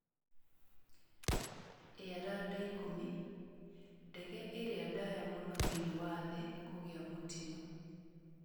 Airlander 10: Ndege ĩrĩa ndaaya mũno thĩinĩ wa thĩ kũgĩa mũtino.